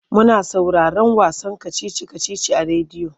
Muna sauraron wasan kacici-kacici a rediyo.